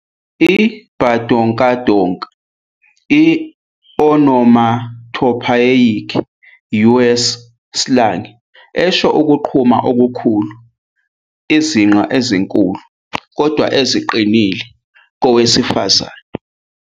I-Badonkadonk- i-onomatopoeic US slang esho ukuqhuma okukhulu, izinqa ezinkulu kodwa eziqinile zowesifazane